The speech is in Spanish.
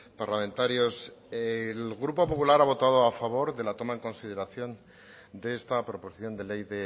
parlamentarios el grupo popular ha votado a favor de la toma en consideración de esta proposición de ley